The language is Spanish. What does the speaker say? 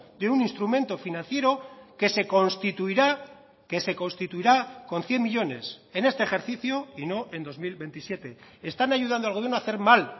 de un instrumento financiero que se constituirá que se constituirá con cien millónes en este ejercicio y no en dos mil veintisiete están ayudando al gobierno a hacer mal